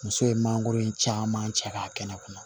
Muso ye mangoro caman cɛ k'a kɛnɛ kɔnɔ